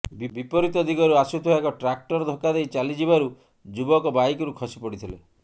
ବିପରିତ ଦିଗରୁ ଆସୁଥିବା ଏକ ଟ୍ରାକଟର ଧକ୍କା ଦେଇ ଚାଲିଯିବାରୁ ଯୁବକ ବାଇକରୁ ଖସି ପଡ଼ିଥିଲେ